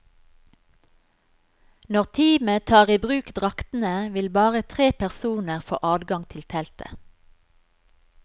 Når teamet tar i bruk draktene, vil bare tre personer få adgang til teltet.